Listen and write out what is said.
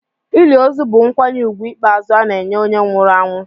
Ili ozu bụ nkwanye ùgwù ikpeazụ ana-enye onye nwụrụ anwụ.